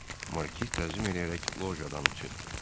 Markiz təzim eləyərək lojadan çıxdı.